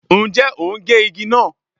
Ǹjẹ́ o ń gé igi náà?